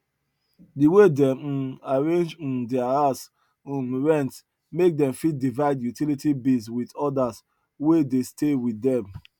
the way dem um arrange um their house um rent make dem fit divide utility bills with others wey dey stay with dem